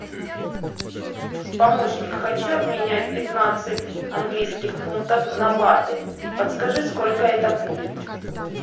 помощник хочу обменять пятнадцать английских фунтов на баты подскажи сколько это будет